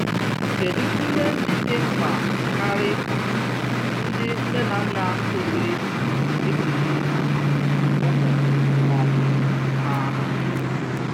Kedụ ihe ndị dị mkpa karị ndị nne na nna kwesịrị ịkụzi ụmụ um ha?